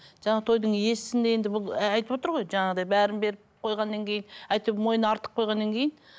жаңа тойдың иесін де енді бұл айтып отыр ғой жаңағыдай бәрін беріп қойғаннан кейін әйтеуір мойнына артып қойғаннан кейін